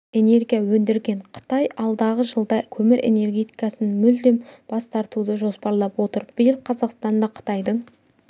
знергия өндірген қытай алдағы жылда көмір энергетикасынан мүлдем бас тартуды жоспарлап отыр биыл қазақстанда қытайдың